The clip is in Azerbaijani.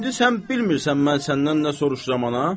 İndi sən bilmirsən mən səndən nə soruşuram, ana?